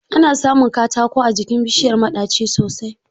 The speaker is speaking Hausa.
Ana samun katako a jikin bishiyar maɗaci sosai